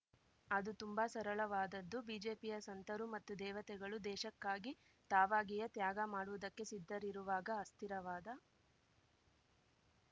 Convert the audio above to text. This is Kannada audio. ಅದು ತುಂಬ ಸರಳವಾದದ್ದು ಬಿಜೆಪಿಯ ಸಂತರು ಮತ್ತು ದೇವತೆಗಳು ದೇಶಕ್ಕಾಗಿ ತಾವಾಗಿಯೇ ತ್ಯಾಗ ಮಾಡುವುದಕ್ಕೆ ಸಿದ್ಧರಿರುವಾಗ ಅಸ್ಥಿರವಾದ